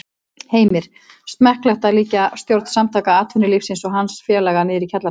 Heimir: Smekklegt að líkja stjórn Samtaka atvinnulífsins og hans félaga niðri í kjallara?